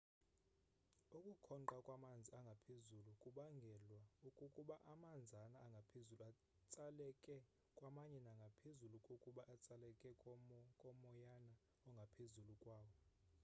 ukukhonqa kwamanzi angaphezulu kubangelwa kukuba amanzana angaphezulu atsalekela kwamanye nangaphezu kokuba atsalekele kumoyana ongaphezulu kwawo